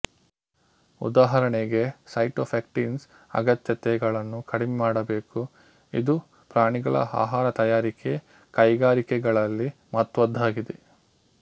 ಉದಾಹರಣೆಗೆ ಸೈಟೊಫೆಕ್ಟಿನ್ಸ್ ಅಗತ್ಯತೆ ಗಳನ್ನು ಕಡಿಮೆ ಮಾಡಾಬೇಕು ಇದು ಪ್ರಾಣಿಗಳ ಆಹಾರ ತಯಾರಿಕೆ ಕೈಗಾರಿಕೆಗಳಲ್ಲಿ ಮಹತ್ವದ್ದಾಗಿದೆ